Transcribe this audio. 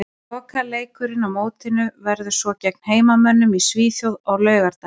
Lokaleikurinn á mótinu verður svo gegn heimamönnum í Svíþjóð á laugardaginn.